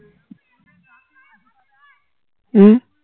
উম